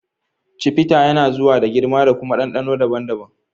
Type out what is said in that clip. Chivita yana zuwa da girma da kuma ɗanɗano daban-daban.